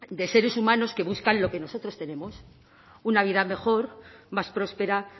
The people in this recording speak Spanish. de seres humanos que buscan lo que nosotros tenemos una vida mejor más próspera